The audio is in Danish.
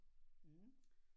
Mh